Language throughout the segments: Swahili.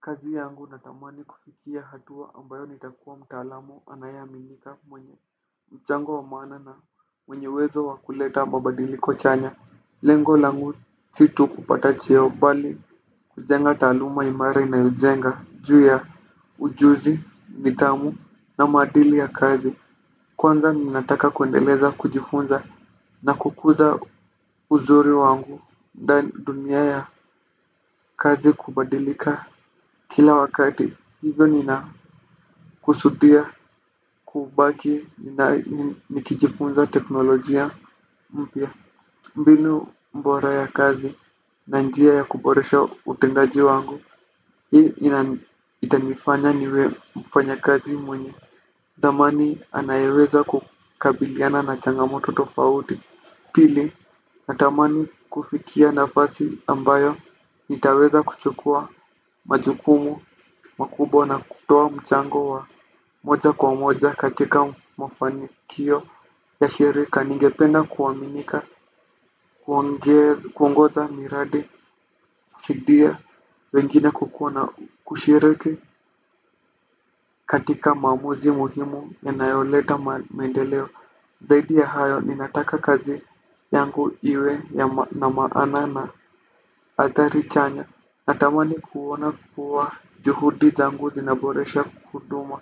Kazi yangu natamani kufikia hatua ambayo nitakuwa mtaalamu anayeaminika mwenye michango wa maana na mwenye uwezo wa kuleta mabadiliko chanya. Lengo langu si tu kupata cheo bali kujenga taaluma imara inayojenga juu ya ujuzi nidhamu na maadili ya kazi. Kwanza ninataka kuendeleza kujifunza na kukuza uzuri wangu dunia ya kazi kubadilika. Kila wakati hivyo nina kusudia, kubaki, nikijifunza teknolojia mpya. Mbinu bora ya kazi na njia ya kuboresha utendaji wangu itanifanya niwe mfanyakazi mwenye dhamani anayeweza kukabiliana na changamoto tofauti. Pili na tamani kufikia nafasi ambayo nitaweza kuchukua majukumu, makubwa na kutoa mchango wa moja kwa moja katika mafanikio ya shirika. Ningependa kuwaminika, kuongoza miradi, fidia, wengine kukua na kushiriki katika maamuzi muhimu yanayoleta maendeleo. Zaidi ya hayo, ninataka kazi yangu iwe na maana na hatari chanya. Natamani kuona kuwa juhudi zangu zinaboresha huduma.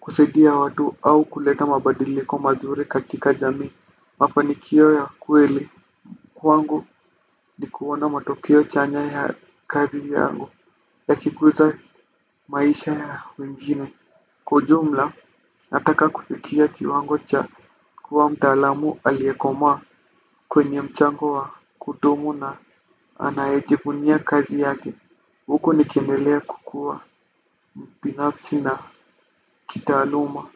Kusaidia watu au kuleta mabadiliko mazuri katika jamii. Mafanikio ya kweli. Kwangu ni kuona matokeo chanya ya kazi yangu ya kikuza maisha ya wengine. Kwa ujumla nataka kufikia kiwango cha kuwa mtaalamu aliyekomaa kwenye mchango wa kudumu na anayejivunia kazi yake huko nikiendelea kukua binafsi na kitaaluma.